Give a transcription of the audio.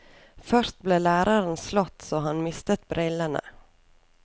Først ble læreren slått så han mistet brillene.